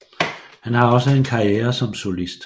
Han har også en karriere som solist